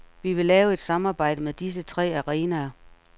Vi vil lave et samarbejde med disse tre arenaer.